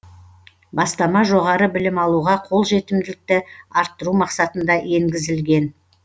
бастама жоғары білім алуға қолжетімділікті арттыру мақсатында енгізілген